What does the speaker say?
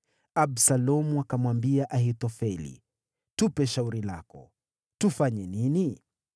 Absalomu akamwambia Ahithofeli, “Tupe shauri lako. Tufanye nini?”